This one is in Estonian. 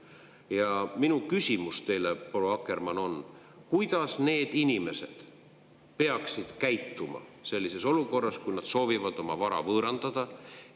Ja minu küsimus teile, proua Akkermann, on: kuidas need inimesed peaksid käituma sellises olukorras, kui nad soovivad oma vara võõrandada?